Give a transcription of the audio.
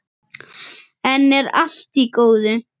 Enn er allt í góðu.